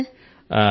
అలాగే సర్